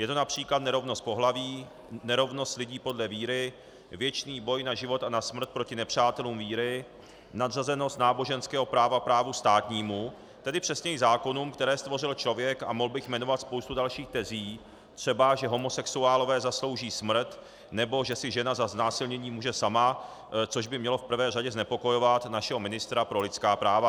Je to například nerovnost pohlaví, nerovnost lidí podle víry, věčný boj na život a na smrt proti nepřátelům víry, nadřazenost náboženského práva právu státnímu, tedy přesněji zákonům, které stvořil člověk, a mohl bych jmenovat spoustu dalších tezí, třeba že homosexuálové zaslouží smrt nebo že si žena za znásilnění může sama, což by mělo v prvé řadě znepokojovat našeho ministra pro lidská práva.